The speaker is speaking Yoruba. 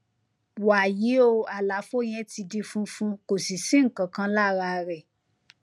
wàyí o àlàfo yẹn ti di funfun kò sì sí nǹkan kan lára rẹ